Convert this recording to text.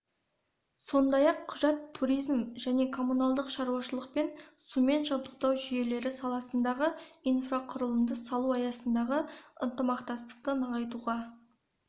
сондай-ақ құжат туризм және коммуналдық шаруашылық пен сумен жабдықтау жүйелері саласындағы инфрақұрылымды салу аясындағы ынтымақтастықты нығайтуға